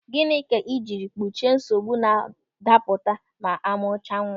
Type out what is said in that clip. Gịnị ka ị jiri gbochie nsogbu na-adapụta ma amụ chaa nwa?